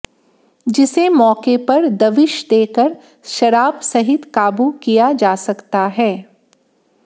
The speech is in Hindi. जिसे मौके पर दबिश देकर शराब सहित काबू किया जा सकता है